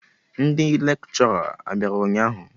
Ndị lekshọra a bịara ụnyaahụ?